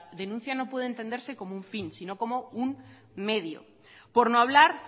denuncia no puede entenderse como un fin sino como un medio por no hablar